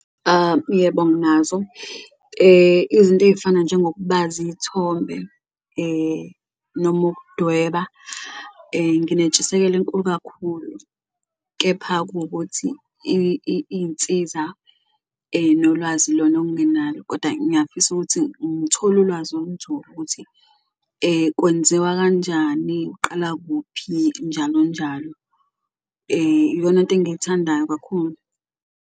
Yebo, nginazo izinto ey'fana njengokubaza iy'thombe noma ukudweba, nginentshiseleko enkulu kakhulu, kepha kuwukuthi iy'nsiza nolwazi ilona ongenalo koda ngiyafisa ukuthi ngithole ulwazi olunzulu ukuthi kwenzewa kanjani, uqala kuphi, njalo njalo. Iyonanto engiyithandayo kakhulu.